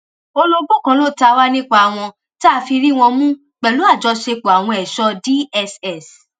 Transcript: olobó kan ló ta wá nípa wọn tá a fi rí wọn mú pẹlú àjọṣepọ àwọn ẹṣọ cs] dss